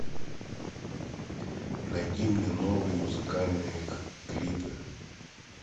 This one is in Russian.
найди мне новые музыкальные клипы